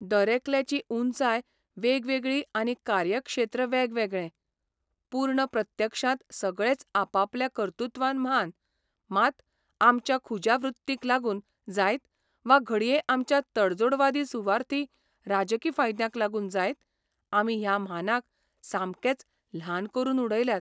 दरेकल्याची उंचाय वेगवेगळी आनी कार्यक्षेत्र्य वेगवेगळें, पूर्ण प्रत्यक्षांत सगळेच आपापल्या कर्तुत्वान म्हान मात आमच्या खुज्या वृत्तींक लागून जायत, वा घडये आमच्या तडजोडवादी सुवार्थी राजकी फायद्यांक लागून जायत, आमी ह्या म्हानांक सामकेच ल्हान करून उडयल्यात.